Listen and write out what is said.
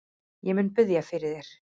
Ég mun biðja fyrir þér.